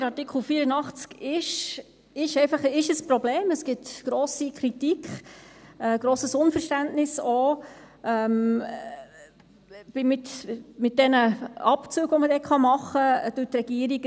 Der Artikel 84 ist einfach ein Problem, es gibt grosse Kritik, auch grosses Unverständnis wegen den Abzügen, die man machen kann durch die Regierung.